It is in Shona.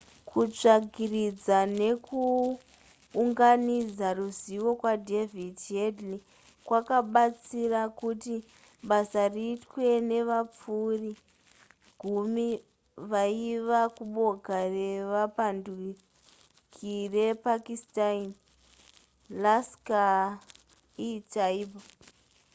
kutsvagiridza nekuunganidza ruzivo kwadavid headley kwakabatsira kuti basa riitwe nevapfuri gumi vaibva kuboka revapanduki repakistani laskhar-e-taiba